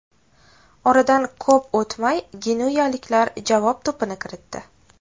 Oradan ko‘p o‘tmay genuyaliklar javob to‘pini kiritdi.